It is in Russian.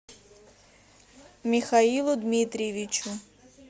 михаилу дмитриевичу